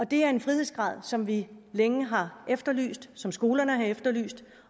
det er en frihedsgrad som vi længe har efterlyst som skolerne har efterlyst